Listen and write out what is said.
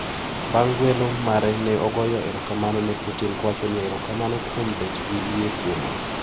Bang` guelo mare ne ogoyo erokamano ne Putin kowacho niya," erokamano kuom bet gi yie kuoma".